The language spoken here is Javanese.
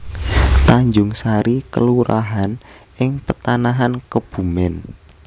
Tanjungsari kelurahan ing Petanahan Kebumèn